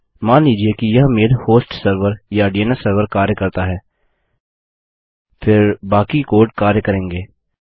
मान लीजिए कि यह मेल हॉस्ट सर्वर या डीएनएस सर्वर कार्य करता है फिर बाकी कोड कार्य करेंगे